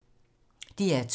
DR2